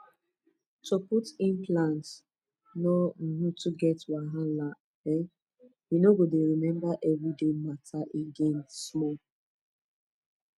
to put implant no um too get wahala um you no go dey remember everyday matter again small pause